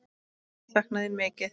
Hvað ég sakna þín mikið.